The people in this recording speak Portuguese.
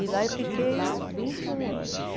E lá eu fiquei vinte e um anos.